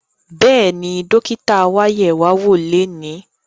Bẹ́ẹ̀ni, dókítà wa yẹ̀ wá wò lónìí